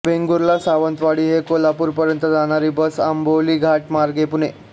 वेंगुर्ला सावंतवाडी ते कोल्हापूर पर्यंत जाणारी बस अंबोली घाट मार्गे पुणे